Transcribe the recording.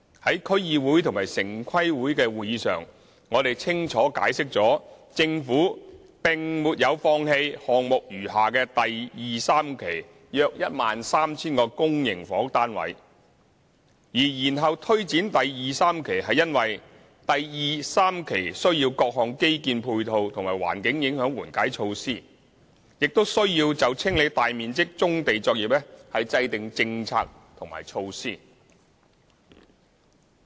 在區議會及城市規劃委員會的會議上，我們清楚解釋了政府並沒有放棄項目餘下的第2、3期約 13,000 個公營房屋單位；而延後推展第2、3期是因為第2、3期需要各項基建配套及環境影響緩解措施，亦需要就清理大面積棕地作業制訂政策和措施。